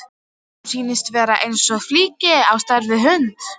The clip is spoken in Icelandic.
Öðrum sýndist hann eins og flykki á stærð við hund.